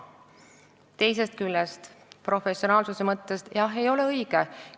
Teisest küljest, professionaalsuse mõttes, jah, ei ole see õige.